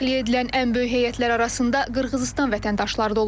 Təxliyə edilən ən böyük heyətlər arasında Qırğızıstan vətəndaşları da olub.